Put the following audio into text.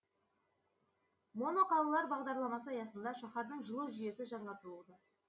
моноқалалар бағдарламасы аясында шаһардың жылу жүйесі жаңартылуда